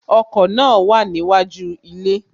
Ọkọ̀ náà wà níwájú ilé